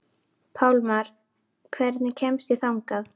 Pálmar, hvernig kemst ég þangað?